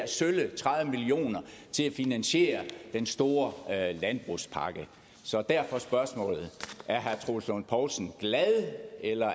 finansiere den store landbrugspakke så derfor spørgsmålet er herre troels lund poulsen glad eller